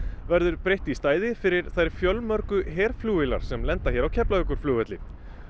verður breytt í stæði fyrir þær fjölmörgu herflugvélar sem lenda hér á Keflavíkurflugvelli